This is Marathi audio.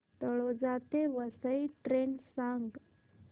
तळोजा ते वसई ट्रेन सांग